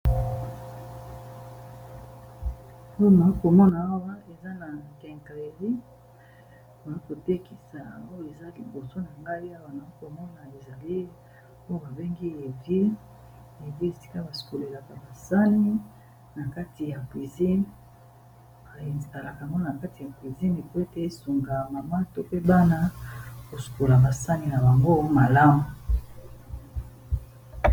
Oyo nakomona awa eza na kengreli maa kotekisa poyo eza liboso na ngai ya wanakomona esali oyo babengi ev epe esika basukolelaka basani na kati ya pizine ralakamgo na kati ya pisine po ete esunga mamato pebana kosukola basani na bango malamu